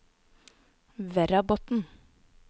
Verrabotn